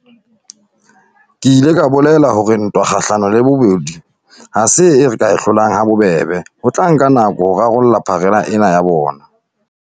Ke ile ka bolela hore ntwa kgahlano le bobodu ha se eo re ka e hlolang ha bobebe, ho tla nka nako ho rarolla pharela ena ya bona.